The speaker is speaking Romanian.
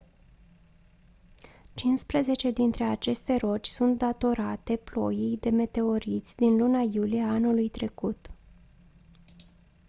cincisprezece dintre aceste roci sunt datorate ploii de meteoriți din luna iulie a anului trecut